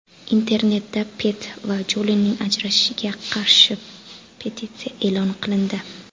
Internetda Pitt va Jolining ajrashishiga qarshi petitsiya e’lon qilindi.